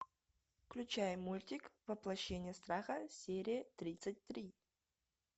включай мультик воплощение страха серия тридцать три